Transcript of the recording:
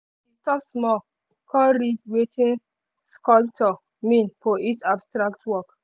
he stop small con read wetin sculptor mean for each abstract work.